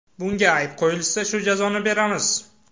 Bunga ayb qo‘yilsa shu jazoni beramiz.